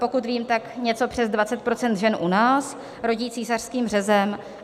Pokud vím, tak něco přes 20 % žen u nás rodí císařským řezem.